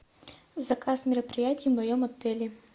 заказ мероприятий в моем отеле